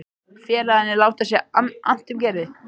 Félagarnir láta sér annt um Gerði.